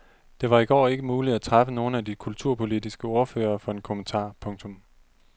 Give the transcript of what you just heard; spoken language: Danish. Det var i går ikke muligt at træffe nogle af de kulturpolitiske ordførere for en kommentar. punktum